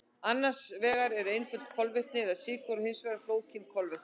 Annars vegar eru einföld kolvetni eða sykur og hins vegar flókin kolvetni.